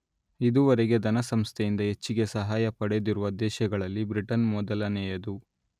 ಇದುವರೆಗೆ ಧನಸಂಸ್ಥೆಯಿಂದ ಹೆಚ್ಚಿಗೆ ಸಹಾಯ ಪಡೆದಿರುವ ದೇಶಗಳಲ್ಲಿ ಬ್ರಿಟನ್ ಮೊದಲನೆಯದು